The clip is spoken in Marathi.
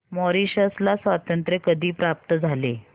मॉरिशस ला स्वातंत्र्य कधी प्राप्त झाले